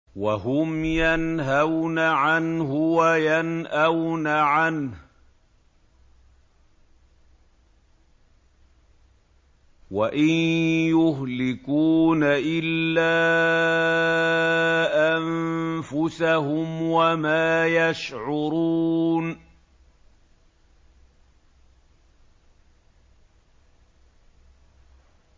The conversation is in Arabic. وَهُمْ يَنْهَوْنَ عَنْهُ وَيَنْأَوْنَ عَنْهُ ۖ وَإِن يُهْلِكُونَ إِلَّا أَنفُسَهُمْ وَمَا يَشْعُرُونَ